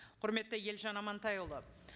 құрметті елжан амантайұлы